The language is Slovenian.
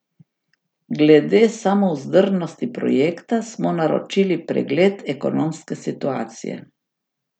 Glede samovzdržnosti projekta smo naročili pregled ekonomske situacije.